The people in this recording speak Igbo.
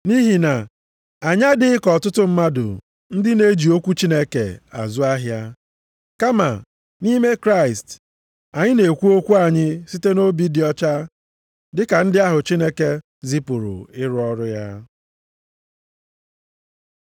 Nʼihi na anyị adịghị ka ọtụtụ mmadụ ndị na-eji okwu Chineke azụ ahịa. Kama, nʼime Kraịst anyị na-ekwu okwu anyị site nʼobi dị ọcha, dịka ndị ahụ Chineke zipụrụ ịrụ ọrụ a.